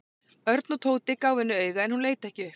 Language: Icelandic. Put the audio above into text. Örn og Tóti gáfu henni auga en hún leit ekki upp.